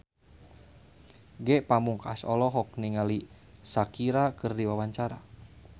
Ge Pamungkas olohok ningali Shakira keur diwawancara